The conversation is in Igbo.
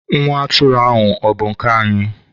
Nwa atụrụ ahụ ọ bụ nke anyị?